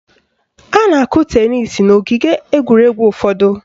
A na-akụ tenis n' ogige egwuregwu ụfọdụ